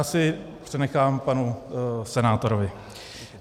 Asi přenechám panu senátorovi.